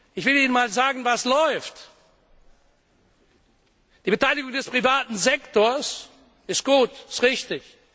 Ich will Ihnen einmal sagen, was läuft Die Beteiligung des privaten Sektors ist gut, sie ist richtig.